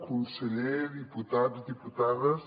conseller diputats diputades